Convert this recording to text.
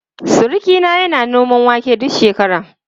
Surukina yana noman wake duk shekara.